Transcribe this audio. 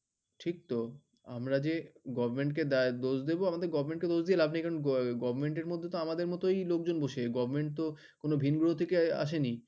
ঠিকতো। আমরা যে গভর্নমেন্টকে দা দোষ বিদ আমাদের গভর্নমেন্টকে দোষ দিয়ে লাভ নেই। কারণ গভর্নমেন্ট এর মধ্যে তো আমাদের মতই লোকজন বসে। গভর্নমেন্টতো কোনো ভিনগ্রহ থেকে আসেনি।